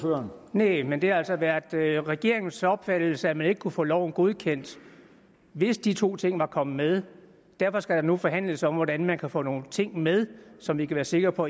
næh men det har altså været regeringens opfattelse at man ikke kunne få loven godkendt hvis de to ting var kommet med derfor skal der nu forhandles om hvordan man kan få nogle ting med som vi kan være sikre på